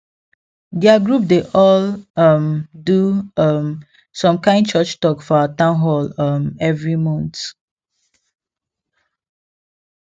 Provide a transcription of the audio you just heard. their group dey all um do um some kind church talk for our town hall um every month